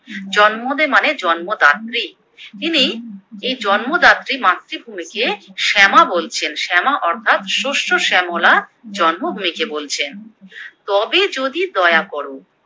জন্মদে মানে জন্মদাত্রী, তিনি এই জন্মদাত্রী মাতৃভূমিকে শ্যামা বলছেন, শ্যামা অর্থাৎ শস্য শ্যামলা জন্মভূমিকে বলছেন, তবে যদি দয়া করো